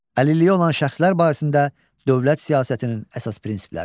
Əlilliyi olan şəxslər barəsində dövlət siyasətinin əsas prinsipləri.